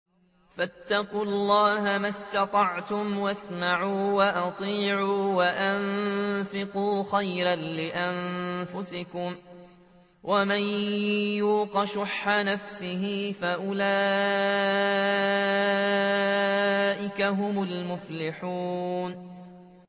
فَاتَّقُوا اللَّهَ مَا اسْتَطَعْتُمْ وَاسْمَعُوا وَأَطِيعُوا وَأَنفِقُوا خَيْرًا لِّأَنفُسِكُمْ ۗ وَمَن يُوقَ شُحَّ نَفْسِهِ فَأُولَٰئِكَ هُمُ الْمُفْلِحُونَ